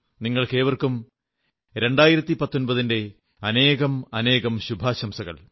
നിങ്ങൾക്കേവർക്കും 2019 ന്റെ അനേകാനേകം ശുഭാശംസകൾ